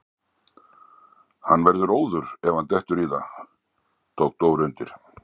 Hann verður óður ef hann dettur í það! tók Dóri undir.